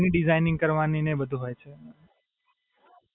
એની designing કરવાની ને એ બધુ હોય છે એમાં.